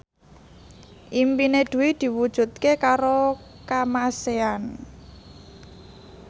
impine Dwi diwujudke karo Kamasean